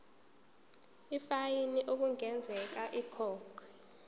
ifayini okungenzeka ikhokhwe